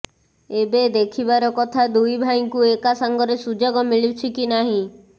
ଏବେ ଦେଖିବାର କଥା ଦୁଇ ଭାଇଙ୍କୁ ଏକା ସାଙ୍ଗରେ ସୁଯୋଗ ମିଳୁଛି କି ନାହିଁ